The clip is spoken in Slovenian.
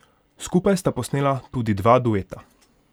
Skupaj sta posnela tudi dva dueta.